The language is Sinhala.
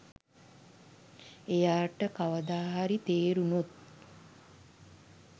එයාට කවදා හරි තේරුනොත්